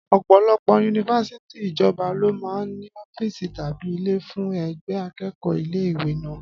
Ọ̀pọ̀lọpọ̀ yunifásítì ìjọba lọ máa ń ní Ọ́fíìsì tàbí ilé fún ẹgbẹ́ akẹ́kọ̀ọ́ ilé ìwé náà